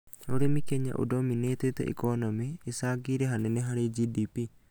Urĩmi Kenya ndominĩtĩte ikonomĩ, ĩcangĩire hanene harĩ GDP